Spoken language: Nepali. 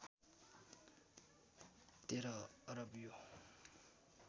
१३ अरब यो